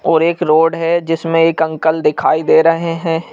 और एक रोड है जिसमें एक अंकल दिखाई दे रहे हैं।